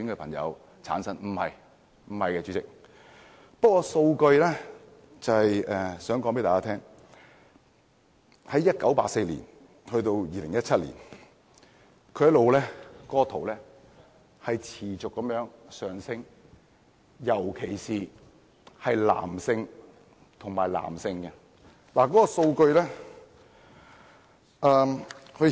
不是的，主席，我只不過是想藉數據想告訴大家，由1984年至2017年，這數字持續上升，特別是男男性接觸者。